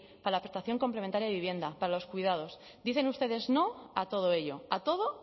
para la prestación complementaria de vivienda para los cuidados dicen ustedes no a todo ello a todo